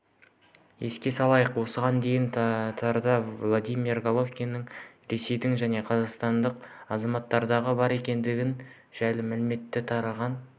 еске салайық осыған дейін тарда владимир головатюктің ресейдің және қазақстанның азаматтығы бар екендігі жайлы мәлімет тараған